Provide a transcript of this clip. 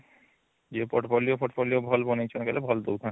ୟେ portfolio portfolio ଭଲ ବନେଇଛନ କହିଲେ ଭଲ ଦଉଛନ